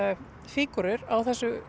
fígúrur á þessu